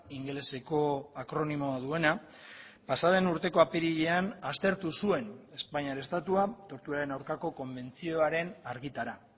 ingeleseko akronimoa duena pasa den urteko apirilean aztertu zuen espainiar estatua torturaren aurkako konbentzioaren argitara